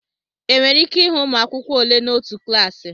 Enwere ike ịhụ ụmụ akwụkwọ ole n'otu klaasị